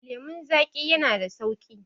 lemon zaƙi yana da sauƙi